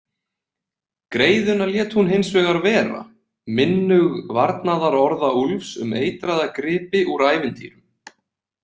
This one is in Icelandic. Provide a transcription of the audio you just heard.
Greiðuna lét hún hinsvegar vera, minnug varnaðarorða Úlfs um eitraða gripi úr ævintýrum.